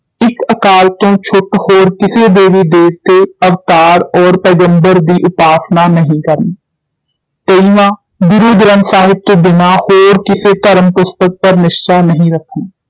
ਇਕ ਅਕਾਲ ਤੋਂ ਛੁੱਟ ਹੋਰ ਕਿਸੇ ਦੇਵੀ ਦੇਵਤੇ, ਅਵਤਾਰ ਔਰ ਪੈਗ਼ੰਬਰ ਦੀ ਉਪਾਸਨਾ ਨਹੀਂ ਕਰਨੀ ਤੇਇਵਾਂ ਗੁਰੂ ਗ੍ਰੰਥ ਸਾਹਿਬ ਤੋਂ ਬਿਨਾਂ ਹੋਰ ਕਿਸੇ ਧਰਮ ਪੁਸਤਕ ਪਰ ਨਿਸਚਾ ਨਹੀਂ ਰੱਖਣਾ